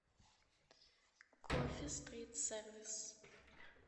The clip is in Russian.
кофе стрит сервис